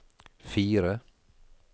fire